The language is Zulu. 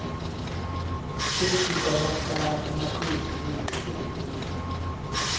zesikhwama samaqembu ezepolitiki